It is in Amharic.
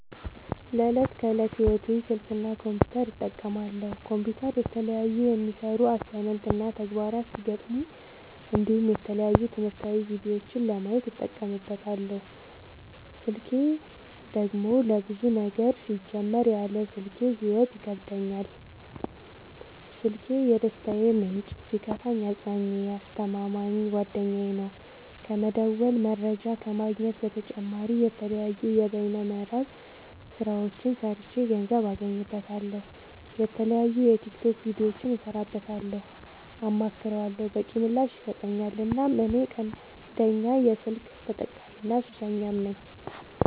ለዕት ከዕለት ህይወቴ ስልክ እና ኮምፒውተር እጠቀማለሁ። ኮምፒውተር የተለያዩ የሚሰሩ አሳይመንት እና ተግባራት ሲገጥሙኝ እንዲሁም የተለያዩ ትምህርታዊ ቪዲዮዎችን ለማየት እጠቀምበታለው። ስልኬን ደግሞ ለብዙ ነገር ሲጀመር ያለ ስልኬ ህይወት ይከብደኛል። ስልኪ የደስታዬ ምንጭ ሲከፋኝ አፅናኜ አስተማማኝ ጓደኛዬ ነው። ከመደወል መረጃ ከመግኘት በተጨማሪ የተለያዩ የበይነ መረብ ስራዎችን ሰርቼ ገንዘብ አገኝበታለሁ። የተለያዩ የቲክቶክ ቪዲዮዎችን እሰራበታለሁ አማክረዋለሁ። በቂ ምላሽ ይሰጠኛል እናም እኔ ቀንደኛ የስልክ ተጠቀሚና ሱሰኛም ነኝ።